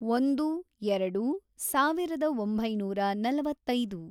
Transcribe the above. ಒಂದು, ಎರಡು, ಸಾವಿರದ ಒಂಬೈನೂರ ನಲವತ್ತೈದು